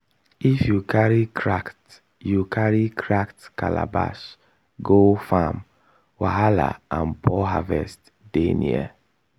if you carry cracked you carry cracked calabash go farm wahala and poor harvest dey near.